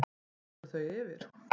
tekur þau yfir?